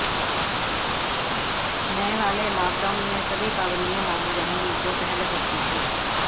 नए वाले लॉकडाउन में सभी पाबंदियां लागू रहेंगी जो पहले होती थीं